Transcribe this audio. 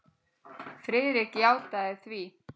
Friðrik játaði því.